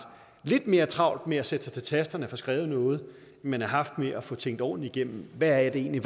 lidt mere travlt med at sætte sig til tasterne og få skrevet noget end man har haft med at få tænkt ordentligt igennem hvad der egentlig